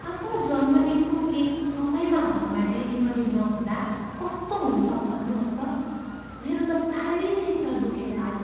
आफ्नो जन्मदिनको केक समयमा घरमा डेलिभरी नहुँदा कस्तो हुन्छ भन्नुहोस् त? मेरो त साह्रै चित्त दुखेर आयो।